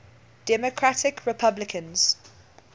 democratic republicans